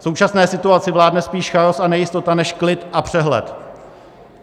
V současné situaci vládne spíš chaos a nejistota než klid a přehled.